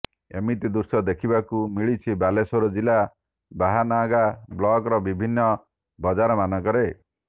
ଏମିତି ଦୃଶ୍ୟ ଦେଖିବାକୁ ମିଳିଛି ବାଲେଶ୍ୱର ଜିଲ୍ଲା ବାହାନଗା ବ୍ଲକର ବିଭିନ୍ନ ବଜାର ମାନଙ୍କରେ